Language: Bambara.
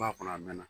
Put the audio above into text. Ba kɔnɔ a mɛnna